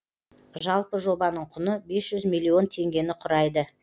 жалпы жобаның құны миллион теңгені құрайды